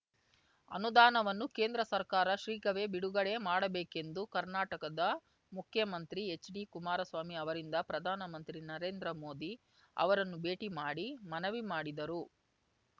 ಅನುದಾನವನ್ನು ಕೇಂದ್ರ ಸರ್ಕಾರ ಶೀಘ್ರವೇ ಬಿಡುಗಡೆ ಮಾಡಬೇಕೆಂದು ಕರ್ನಾಟಕದ ಮುಖ್ಯಮಂತ್ರಿ ಹೆಚ್ಡಿ ಕುಮಾರಸ್ವಾಮಿ ಅವರಿಂದು ಪ್ರಧಾನ ಮಂತ್ರಿ ನರೇಂದ್ರ ಮೋದಿ ಅವರನ್ನು ಭೇಟಿ ಮಾಡಿ ಮನವಿ ಮಾಡಿದರು